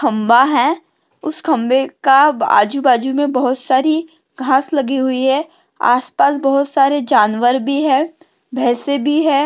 खंबा है उस खंबे का आजू बाजुमे बहुत सारी घास लगी हुई है। आसपास बहुत सारे जानवर भी है भैसे भी है।